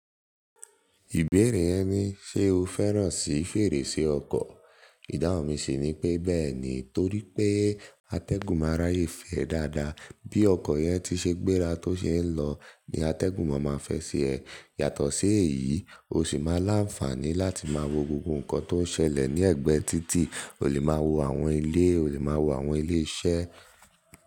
Ìbéèrè yẹn ni, ṣe o fẹ́ràn sí fèrèsé ọkọ̀? Ìdáhun mi sì ni pé, bẹ́ẹ̀ ni. Torí pé atẹ́gùn máa n ráyè fẹ́ ẹ dáadáa. Bí ọkọ̀ yẹn ti ṣe gbéra tó ṣe ń lọ, ni atẹ́gùn máa ma fẹ́ ṣi ẹ. Yàtọ̀ sí èyí, o sì máa láǹfààní láti máa wo gbogbo nǹkan tó ń ṣẹlẹ̀ ní ẹ̀gbẹ́ títì. O lè máa wo àwọn ilé, o lè máa wo àwọn ilé iṣẹ́